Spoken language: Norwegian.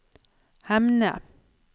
Hemne